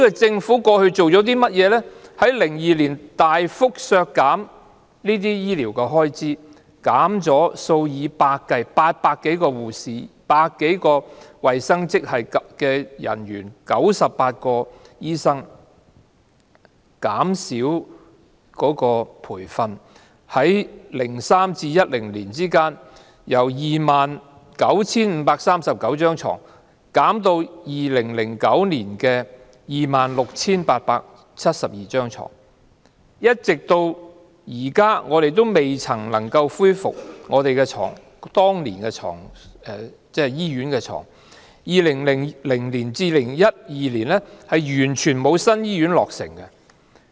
政府在2002年大幅削減醫療開支，減少800多名護士、百多名衞生職系人員、98名醫生；減少培訓；在2003年至2010年間，由 29,539 張病床減少至2009年的 26,872 張病床，直至現在，我們仍然未能恢復當年的醫院床位數目；在2000年至2012年，完全沒有新醫院落成。